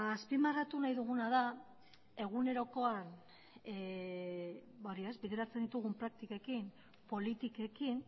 azpimarratu nahi duguna da egunerokoan bideratzen ditugun praktikekin eta politikekin